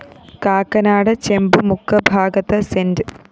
കാക്കനാട് ചെമ്പുമുക്ക് ഭാഗത്ത് സെന്റ്